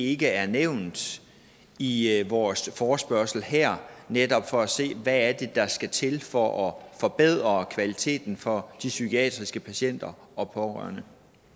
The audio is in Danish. ikke er nævnt i i vores forespørgsel her netop for at se hvad det er der skal til for at forbedre kvaliteten for de psykiatriske patienter og pårørende